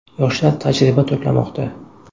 Yoshlar tajriba to‘plamoqda.